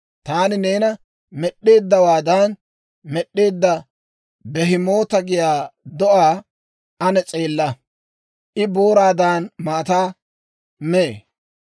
«Taani neena med'd'eeddawaadan med'd'eedda, Bihemoota giyaa do'aa ane s'eella! I booraadan maataa mee.